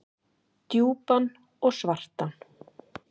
Djúpan og svartan.